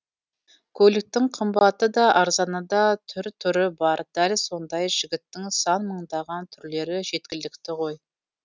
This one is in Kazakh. көліктің қымбаты да арзаны да түр түрі бар дәл сондай жігіттің сан мыңдаған түрлері жеткілікті ғой